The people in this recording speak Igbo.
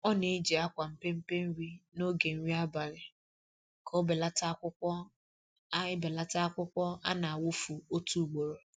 Ọ na-eji akwa mpempe nri n'oge nri abali ka ọ belata akwukwọ a belata akwukwọ a na-awụfu otu ugboro